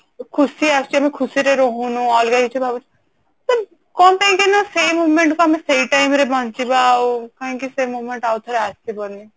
ଖୁସି ଆସୁଛି ଆମେ ଖୁସି ରେ ରହୁନୁ ଅଲଗା କିଛି ଭାବୁଛୁ but କଣ ପାଇଁ କି ନା ଆମେ ସେଇ moment କୁ ଆମେ ସେଇ time ରେ ବଞ୍ଚିବା ଆଉ କଣ ପାଇଁ କି ସେଇ moment ଆଉ ଥରେ ଆସିବନି